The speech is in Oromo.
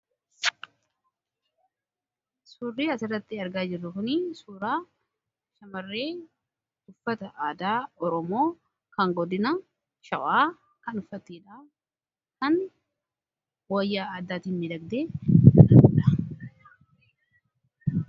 suurri asirratti argaa jirru kun suuraa shamarree uffata aadaa oromoo kan godina shawaa kan uffatteedha. kan wayyaa addaatin miidhagdeedha.